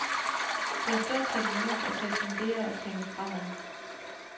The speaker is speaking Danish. Det er stund til at mindes og til at fundere og tænke fremad.